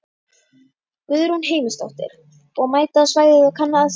Guðrún Heimisdóttir: Og mæta á svæðið og kanna aðstæður?